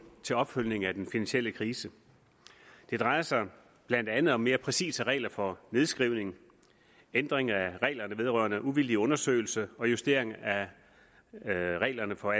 til opfølgning på den finansielle krise det drejer sig blandt andet om mere præcise regler for nedskrivning ændring af reglerne vedrørende uvildig undersøgelse og justering af reglerne for